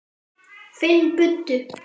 Finn buddu.